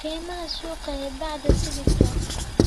Qiimaha suuqa ee bacda sibidhka